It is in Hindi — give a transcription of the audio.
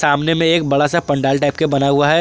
सामने में एक बड़ा सा पंडाल टाइप का बना है।